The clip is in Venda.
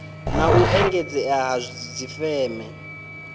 na u engedzea ha dzifeme